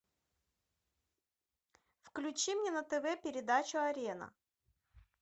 включи мне на тв передачу арена